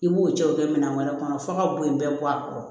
I b'o cɛw kɛ minɛn wɛrɛ kɔnɔ f'a ka bo in bɛɛ bɔ a kɔrɔ